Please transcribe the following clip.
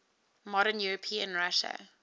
modern european russia